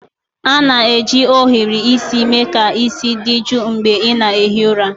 A na-eji ohiri isi mee ka isi dị jụụ mgbe ị na-ehi ụra.